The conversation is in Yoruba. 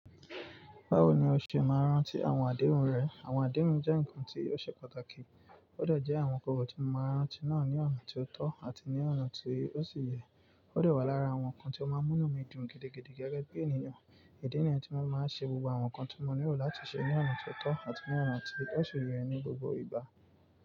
Báwo ni o ṣe máa n rántí àwọn àdéhùn rẹ? Àwọn àdéhùn jẹ́ ǹkan tí ti ó ṣe pàtàkì. Ó de jẹ́ àwọn kòrò tí mo máa n ránti náà ní ọ̀nà tí ó tọ́ àti ní ọ̀nà tí ó sì yẹ. Ó de wá lára àwọn ǹkan tí ó máa ń múnù mi dùn gidigidi gẹ́gẹ́ bí ènìyàn. Ìdí nìyẹn tí mo máa ń ṣe gbogbo àwọn ǹkan tí mo nílò láti ṣe ní ọ̀nà tó tọ́ àti ní ọ̀nà tí ó sì yẹ ní gbogbo ìgbà.